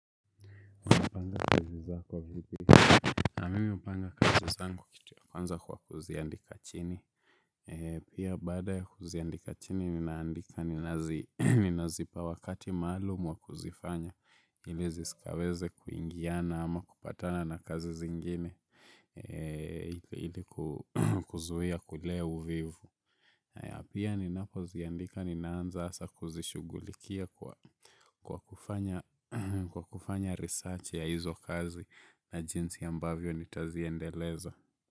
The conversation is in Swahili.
Panga kazi zako vipi mimi hupanga kazi zangu kitu ya kwanza kwa kuziandika chini. Pia baada ya kuziandika chini ninaandika ninazipa wakati maalumu wa kuzifanya ili zisikaweze kuingiana ama kupatana na kazi zingine ili kuzuia kulea uvivu. Pia ninapoziandika ninaanza hasa kuzishughulikia kwa kufanya research ya hizo kazi na jinsi ambavyo nitaziendeleza.